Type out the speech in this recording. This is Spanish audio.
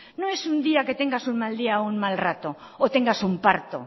no es un día que tengas un mal día o un mal rato o tengas un parto